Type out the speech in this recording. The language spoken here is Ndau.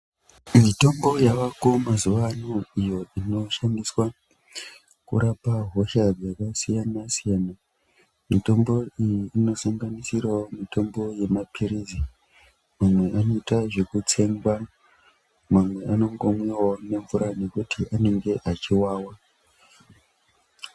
Mitombo yavako mazuva ano iyo inoshandiswa kurapa hosha dzakasiyana siyana mitombo iyi inosanganisirawo mitombo yemapirizi mamwe aboitwa zvekutsenga amwe anomwiwawo nemvura nekuti anenge achiwawa.